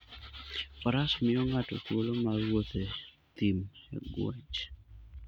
Faras miyo ng'ato thuolo mar wuotho e thim e ng'wech.